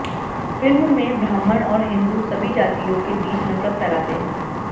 film में ब्राह्मण और हिन्दू सभी जातियों के बीच नफरत फैलाते हैं